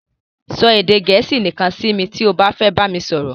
Sọ edè Gẹ̀ẹ́sì nìkan si mi ti o ba fe bami soro